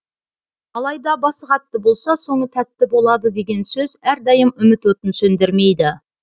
алайда басы қатты болса соңы тәтті болады деген сөз әрдайым үміт отын сөндірмейді